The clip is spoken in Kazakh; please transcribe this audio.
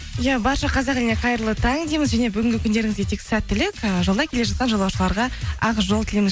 иә барша қазақ еліне қайырлы таң дейміз және бүгінгі күндеріңізге тек сәттілік і жолда келе жатқан жолаушыларға ақ жол тілейміз